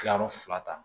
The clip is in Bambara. Kilayɔrɔ fila ta